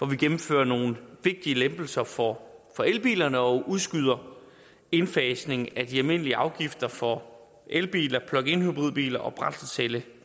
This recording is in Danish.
vi gennemfører nogle vigtige lempelser for elbilerne og udskyder indfasningen af de almindelige afgifter for elbiler pluginhybridbiler og brændselscellebiler